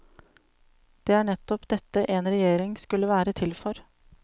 Det er nettopp dette en regjering skulle være til for.